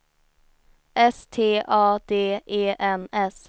S T A D E N S